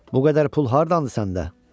Bu qədər pul hardandır səndə?